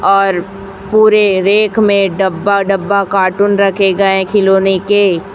और पुरे रेख में डब्बा डब्बा कार्टून रखे गए खिलोने के--